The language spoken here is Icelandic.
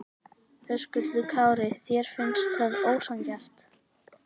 Höskuldur Kári: Þér finnst það ósanngjarnt?